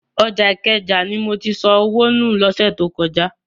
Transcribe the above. Ọjà Ìkẹjà ni mo ti sọ owó nù lọ́sẹ̀ tó kọjá.